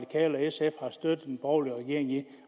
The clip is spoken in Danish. sf har støttet den borgerlige regering i